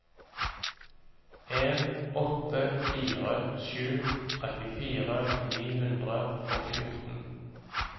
en åtte fire sju trettifire ni hundre og fjorten